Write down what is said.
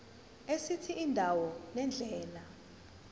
esithi indawo nendlela